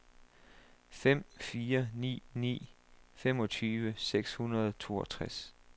fem fire ni ni femogtyve seks hundrede og toogtres